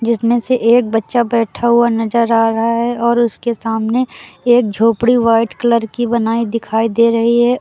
जिसमें से एक बच्चा बैठा हुआ नजर आ रहा है और उसके सामने एक झोपड़ी व्हाइट कलर की बनाई दिखाई दे रही है।